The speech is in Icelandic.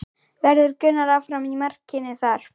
Verður Gunnar áfram í markinu þar?